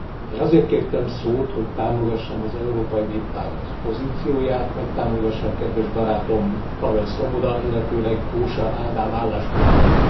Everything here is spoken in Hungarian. Én azért kértem szót, hogy támogassam az Európai Néppárt pozícióját, megtámogassam kedves barátom, Pavel Svoboda, illetőleg Kósa Ádám álláspontját.